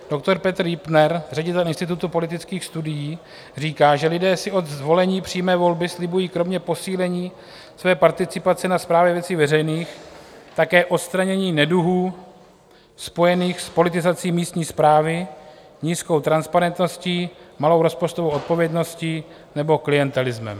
Doktor Petr Jüptner, ředitel Institutu politických studií, říká, že lidé si od zvolení přímé volby slibují kromě posílení své participace na správě věcí veřejných také odstranění neduhů spojených s politizací místní správy, nízkou transparentností, malou rozpočtovou odpovědností nebo klientelismem.